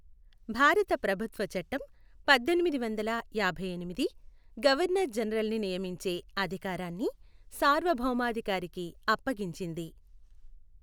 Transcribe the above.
భారత ప్రభుత్వ చట్టం పద్దెనిమిదివందల యాభైఎనిమిది, గవర్నర్ జనరల్ని నియమించే అధికారాన్ని సార్వభౌమాధికారికి అప్పగించింది.